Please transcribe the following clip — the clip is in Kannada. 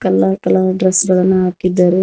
ಕಲರ್ ಕಲರ್ ಡ್ರೆಸ್ ಗಳನ್ನು ಹಾಕಿದ್ದಾರೆ.